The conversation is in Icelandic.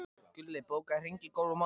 Gulli, bókaðu hring í golf á mánudaginn.